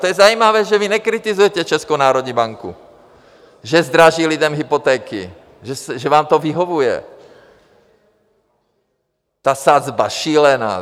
To je zajímavé, že vy nekritizujete Českou národní banku, že zdraží lidem hypotéky, že vám to vyhovuje, ta sazba šílená.